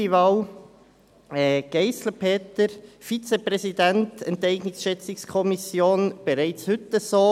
Neunte Wahl: Peter Geissler, Vizepräsident der ESchK. Das ist bereits heute so.